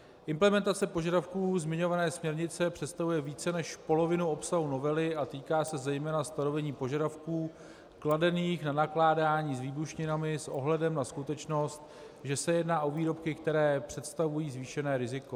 Implementace požadavků zmiňované směrnice představuje více než polovinu obsahu novely a týká se zejména stanovení požadavků kladených na nakládání s výbušninami s ohledem na skutečnost, že se jedná o výrobky, které představují zvýšené riziko.